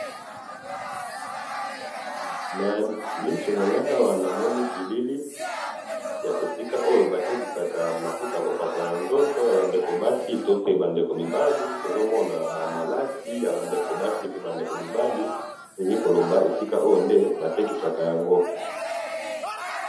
na misu nangai awa, namoni bilili ya esika oyo batekisaka mafuta bakopakola na nzoto yaba ndeko basi, to pe ba ndeko mibali, tozomona ba malasi yaba ndeko basi, pe naba ndeko mobali, tolingi koleba esika oyo nde batekisaka yango